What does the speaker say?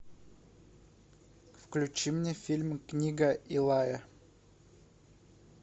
включи мне фильм книга илая